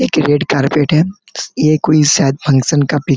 एक red carpet है ये कोई शायद फंक्शन का पिक --